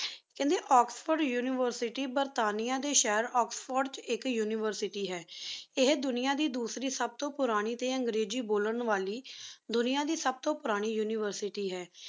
ਕਹਿੰਦੇ Oxford university ਬਰਤਾਨੀਆ ਦੇ ਸ਼ਹਿਰ ਆਕਸਫੋਰਡ ਚ ਇਕ ਯੂਨੀਵਰਸਿਟੀ ਹੈ ਇਹ ਦੁਨੀਆਂ ਦੀ ਦੂਸਰੀ ਸਬਤੋ ਪੁਰਾਣੀ ਤੇ ਅੰਗਰੇਜ਼ੀ ਬੋਲਾਂ ਵਾਲੀ ਦੁਨੀਆ ਦੀ ਸਬਤੋ ਪੁਰਾਣੀ University ਹੈ